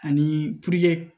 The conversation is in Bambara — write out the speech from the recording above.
Ani